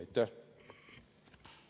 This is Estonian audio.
Aitäh!